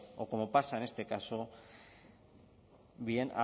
o como pasa en este caso bien